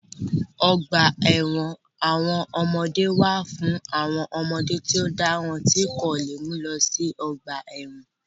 Ọgbà ẹ̀wọ̀n àwọn ọmọdé wà fún àwọn ọmọdé tí ó dáràn tí wọ́n kò lè mú lọ sí ọgbà ẹ̀wọ̀n